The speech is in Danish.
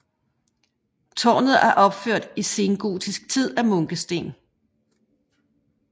Tårnet er opført i sengotisk tid af munkesten